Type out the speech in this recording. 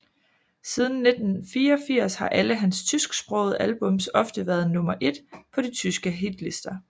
Siden 1984 har alle hans tysksprogede albums ofte været nummer et på de tyske hitlister